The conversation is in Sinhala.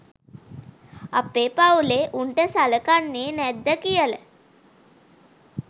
අපේ පවුලේ උන්ට සලකන්නේ නැද්ද කියල.